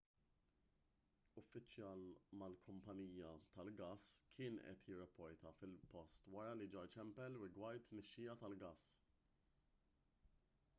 uffiċjal mal-kumpanija tal-gass kien qed jirrapporta fil-post wara li ġar ċempel rigward tnixxija tal-gass